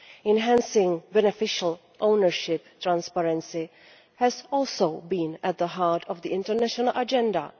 Enhancing beneficial ownership transparency has also been at the heart of the international agenda.